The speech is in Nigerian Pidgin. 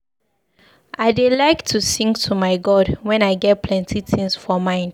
I dey like to sing to my God wen I get plenty tins for mind.